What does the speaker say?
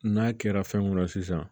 N'a kɛra fɛn mun ra sisan